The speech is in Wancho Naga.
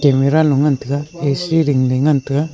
almira lo ngantaga A_C ding ley ngantaga.